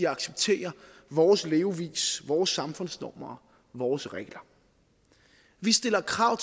accepterer vores levevis vores samfundsnormer vores regler vi stiller krav